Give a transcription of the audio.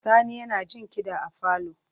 Sani yana jin kiɗa a falo.